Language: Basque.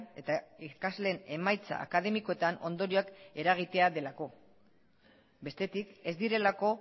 eta ikasleen emaitza akademikoetan ondorioak eragitea delako bestetik ez direlako